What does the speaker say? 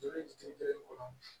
Joli kɔnɔ